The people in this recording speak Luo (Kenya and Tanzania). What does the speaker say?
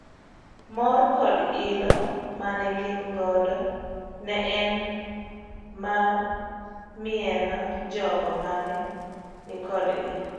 Mor kod ilo mane gin godo ne en mamieno jogo mane nikodgi.